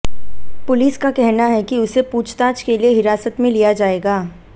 police का कहना है कि उसे पूछताछ के लिए हिरासत में लिया जाएगा